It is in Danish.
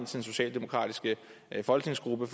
socialdemokratiske folketingsgruppe